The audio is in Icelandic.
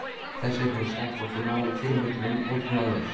Þessir hausar þóttu ná fyrirmyndunum ótrúlega vel.